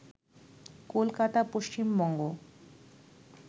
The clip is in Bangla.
কলকাতা, পশ্চিমবঙ্গ